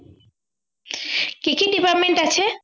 কী কী department আছে